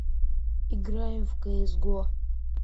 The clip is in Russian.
играем в кс го